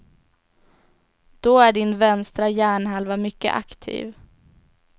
Då är din vänstra hjärnhalva mycket aktiv.